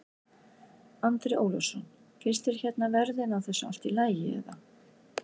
Andri Ólafsson: Finnst þér hérna verðin á þessu allt í lagi eða?